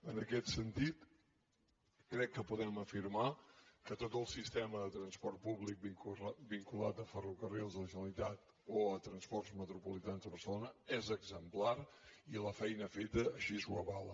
en aquest sentit crec que podem afirmar que tot el sistema de transport públic vinculat a ferrocarrils de la generalitat o a transports metropolitans de barcelona és exemplar i la feina feta així ho avala